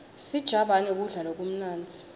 sijabane kudla lokumnandzi